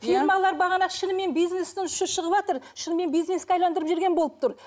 фирмалар бағана шынымен бизнестің ұшы шығыватыр шынымен бизнеске жіберген болып тұр